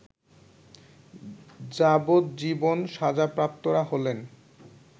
যাবজ্জীবন সাজাপ্রাপ্তরা হলেন